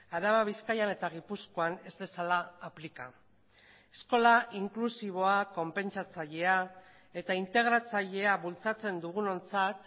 araba bizkaian eta gipuzkoan ez dezala aplika eskola inklusiboa konpentsatzailea eta integratzailea bultzatzen dugunontzat